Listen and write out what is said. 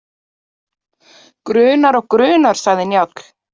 Grunar og grunar, sagði Njáll.